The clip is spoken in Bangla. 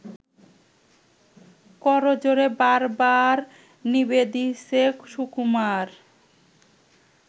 করজোড়ে বারবার নিবেদিছে সুকুমার